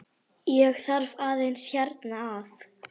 Ég þarf aðeins hérna að.